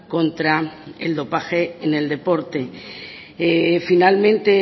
contra el dopaje en el deporte finalmente